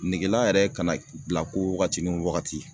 Negela yɛrɛ kana bila ko wagati ni wagati